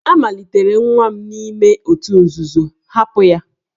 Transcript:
A malitere nwa m n'ime òtù nzuzo, hapụ ya!